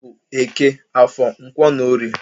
Ha bụ Eke, Afọr, Nkwọ na Orie.